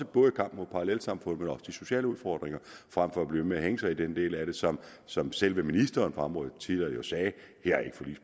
både i kampen mod parallelsamfund men også de sociale udfordringer frem for at blive ved med at hænge sig i den del af det som som selve ministeren på området jo tidligere sagde ikke